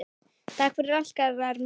Takk fyrir allt, Garðar minn.